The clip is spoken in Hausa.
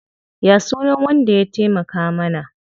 Ya sunan wanda ya taimaka mana?